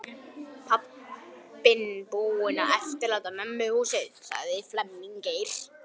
Pabbinn búinn að eftirláta mömmunni húsið.